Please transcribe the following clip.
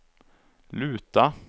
luta